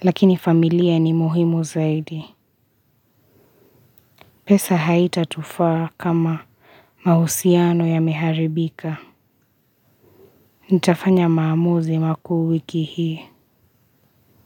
lakini familia ni muhimu zaidi. Pesa haitatufaa kama mahusiano yameharibika. Nitafanya maamuzi makuu wiki hii.